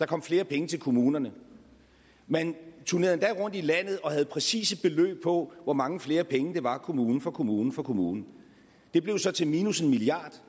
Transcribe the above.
kom flere penge til kommunerne man turnerede rundt i landet og havde præcise beløb på hvor mange flere penge det var kommune for kommune for kommune det blev så til minus en milliard